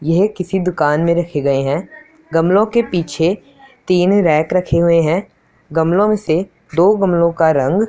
यह किसी दुकान में रखे गए हैं गमलों के पीछे तीन रैक रखे हुए हैं गमलों से दो गमलों का रंग--